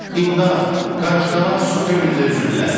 İmdad, qarışqalar su gölündə üzürlər.